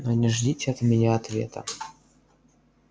но не ждите от меня ответа